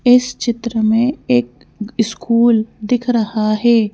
इस चित्र में एक स्कूल दिख रहा है।